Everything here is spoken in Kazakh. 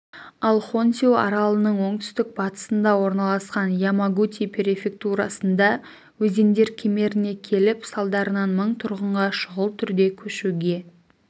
ал хонсю аралының оңтүстік-батысында орналасқан ямагути префектурасында өзендер кемеріне келіп салдарынан мың тұрғынға шұғыл түрде көшуге